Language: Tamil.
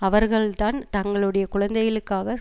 அவர்கள்தான் தங்களுடைய குழந்தைகளுக்காக